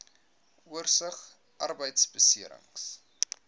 oorsig arbeidbeserings